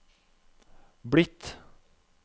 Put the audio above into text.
blitt